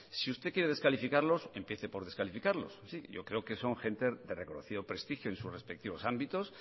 si usted quiere descalificarlos empiece por descalificarlos yo creo que son gente de reconocido prestigio en sus respectivos ámbitos